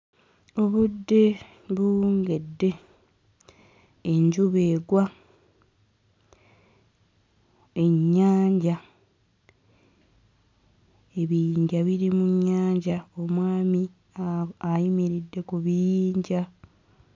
Obudde buwungedde enjuba egwa ennyanja ebiyinja biri mu nnyanja omwami a ayimiridde ku biyinja.